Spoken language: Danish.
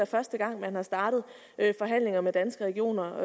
første gang man havde startet forhandlinger med danske regioner